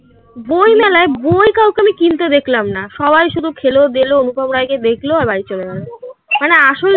বই মেলায় বই কাউকে আমি কিনতে দেখলাম না. সবাই শুধু খেলো দেলো. অনুপম রায় কে দেখলো আর বাড়ি চলে গেলো মানে আসল